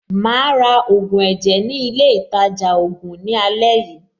Màá ra ògùn ẹ̀jẹ̀ ní ilé-ìtajà-ògùn ní àlẹ́ yìí.